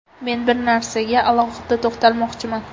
Men bir narsaga alohida to‘xtalmoqchiman.